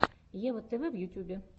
ева тв в ютюбе